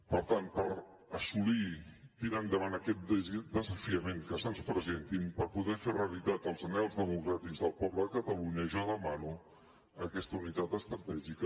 per tant per assolir tirar endavant aquests desafiaments que se’ns presentin per poder fer realitat els anhels democràtics del poble de catalunya jo demano aquesta unitat estratègica